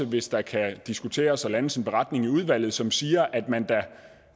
hvis der kan diskuteres og landes en beretning i udvalget som siger at man